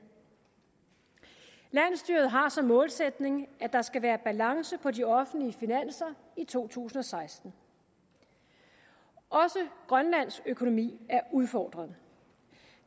landsstyret har som målsætning at der skal være balance på de offentlige finanser i to tusind og seksten også grønlands økonomi er udfordret